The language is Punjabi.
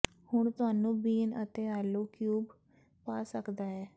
ਹੁਣ ਤੁਹਾਨੂੰ ਬੀਨ ਅਤੇ ਆਲੂ ਕਿਊਬ ਪਾ ਸਕਦਾ ਹੈ